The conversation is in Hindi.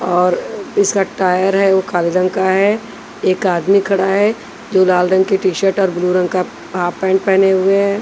और इसका टायर है वो काले रंग का है एक आदमी खड़ा है जो लाल रंग की टी-शर्ट और ब्लू रंग का हाफ पैंट पहने हुए हैं।